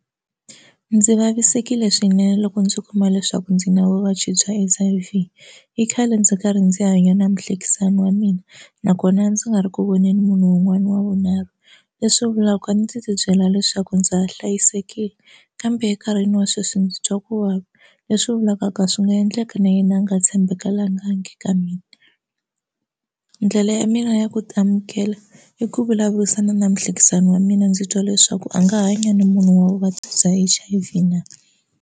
Ndzi vavisekile swinene loko ndzi kuma leswaku ndzi na vuvabyi bya H_I_V i khale ndzi karhi ndzi hanya na muhlekisani wa mina nakona ndzi nga ri ku voneni munhu wun'wani wa vunharhu leswi vulaka ku a ndzi ti byela leswaku ndza ha hlayisekile kambe enkarhini wa sweswi ndzi twa ku vava leswi vulaka ka swi nga endleka na yena a nga ka mina ndlela ya mina ya ku ti amukela i ku vulavurisana na muhlekisani wa mina ndzi twa leswaku a nga hanya na munhu wa vuvabyi bya H_I_V na.